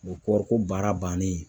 O kɔɔriko baara bannen